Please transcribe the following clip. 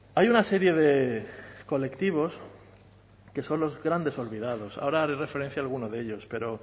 hay una serie de colectivos que son los grandes olvidados ahora haré referencia a alguno de ellos pero